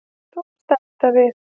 Þú varst að enda við.